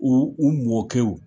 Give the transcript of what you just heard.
U u mɔkɛw